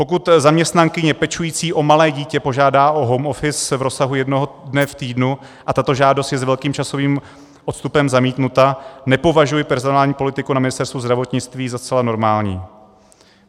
Pokud zaměstnankyně pečující o malé dítě požádá o home office v rozsahu jednoho dne v týdnu a tato žádost je s velkým časovým odstupem zamítnuta, nepovažuji personální politiku na Ministerstvu zdravotnictví za zcela normální.